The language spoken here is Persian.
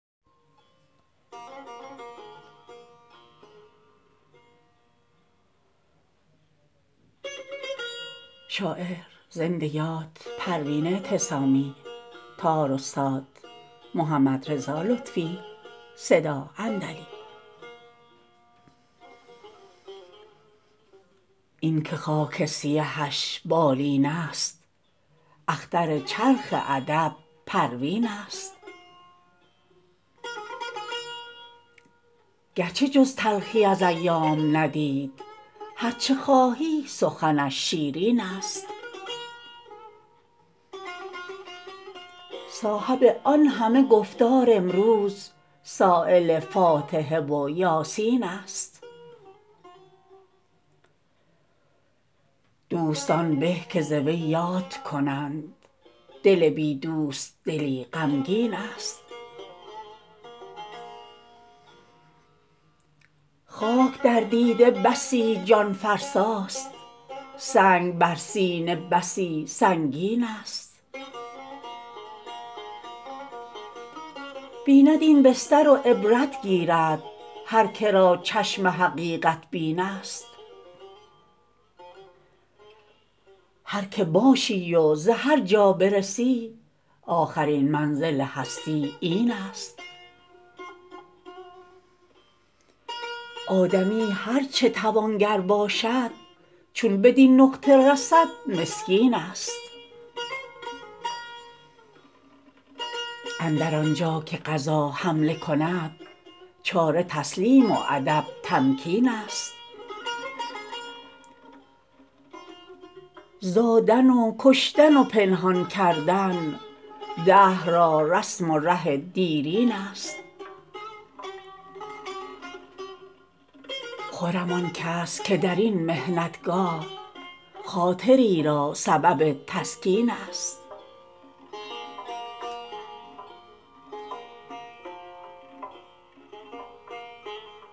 اینکه خاک سیهش بالین است اختر چرخ ادب پروین است گرچه جز تلخی از ایام ندید هر چه خواهی سخنش شیرین است صاحب آن همه گفتار امروز سایل فاتحه و یاسین است دوستان به که ز وی یاد کنند دل بی دوست دلی غمگین است خاک در دیده بسی جان فرسا ست سنگ بر سینه بسی سنگین است بیند این بستر و عبرت گیرد هر که را چشم حقیقت بین است هر که باشی و به هر جا برسی آخرین منزل هستی این است آدمی هر چه توانگر باشد چو بدین نقطه رسد مسکین است اندر آنجا که قضا حمله کند چاره تسلیم و ادب تمکین است زادن و کشتن و پنهان کردن دهر را رسم و ره دیرین است خرم آن کس که در این محنت گاه خاطری را سبب تسکین است